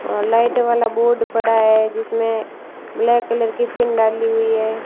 और लाइट वाला बोर्ड पड़ा है जिसमें ब्लैक कलर की पिन डाली हुई है।